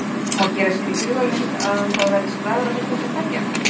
Má gera sér í hugarlund að það verði slagur milli ykkar tveggja?